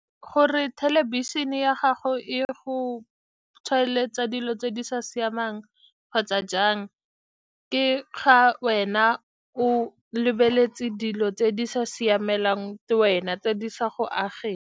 Gore thelebišene ya gago e go tshwaeletse dilo tse di sa siamang kgotsa jang, ke ga wena o lebeletse dilo tse di sa siamelang wena, tse di sa go ageng.